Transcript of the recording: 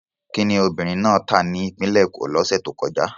Kí ni obìnrin náà tà ní Ìpínlẹ̀ Èkó lọ́sẹ̀ tó kọjá?